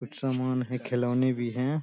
कुछ समान है खिलौने भी हैं।